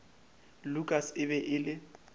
lukas e be e le